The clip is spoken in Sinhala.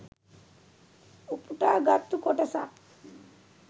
උපුටා ගත්තු කොටසක්